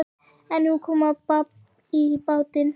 En nú kom babb í bátinn.